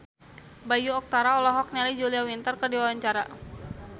Bayu Octara olohok ningali Julia Winter keur diwawancara